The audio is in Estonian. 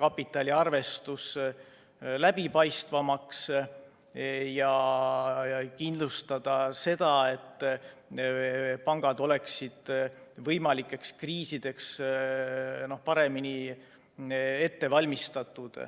kapitaliarvestus läbipaistvamaks ja kindlustada see, et pangad oleksid võimalikeks kriisideks paremini ette valmistatud.